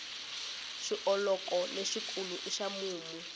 xioloko lexi kulu i xa mumu